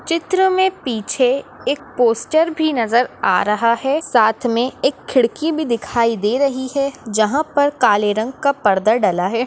चित्र में पीछे एक पोस्टर भी नजर आ रहा है साथ में एक खिड़की भी दिखाई दे रही है जहा पर काले रंग का पडदा डला है।